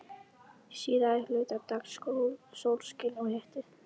Síðari hluta dags sólskin og hiti.